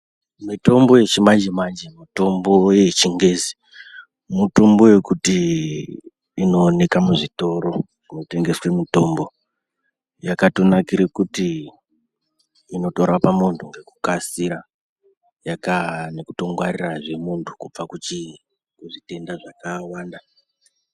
Mutombo yechimanje-manje mitombo yechingezi , mutombo yekuti inooneka muzvitoro zvinotengese mitombo. Yakatonakire kuti, inorapa vantu ngekukasira, yakaa nekutongwarirazve muntu, kubva kuchi kuzvitenda zvakawanda.